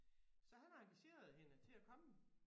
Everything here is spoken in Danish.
Så han har engageret hende til at komme